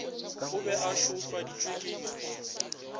e be e šweufaditšwe ke